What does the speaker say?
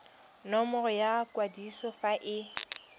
nomoro ya kwadiso fa e